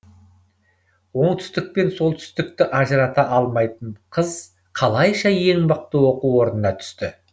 оңтүстік пен солтүстікті ажырата алмайтын қыз қалайша ең мықты оқу орнына түсті